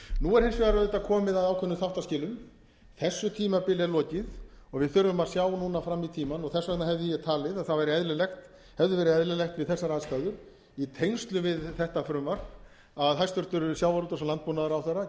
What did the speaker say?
nú er hins vegar auðvitað komið að ákveðnum þáttaskilum þessu tímabili er lokið og við þurfum að sjá núna fram í tímann og þess vegna hefði ég talið að það væri eðlilegt hafði ári eðlilegt við þessar aðstæður í tengslum við þetta frumvarp að hæstvirtur sjávarútvegs og landbúnaðarráðherra